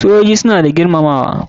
Sojoji suna da girmamawa.